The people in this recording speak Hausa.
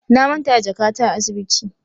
Na manta da jakata a asibiti.